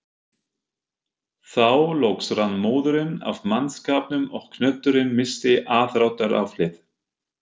Þá loks rann móðurinn af mannskapnum og knötturinn missti aðdráttaraflið.